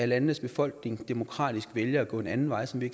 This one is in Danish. lands befolkning demokratisk vælger at gå en anden vej som vi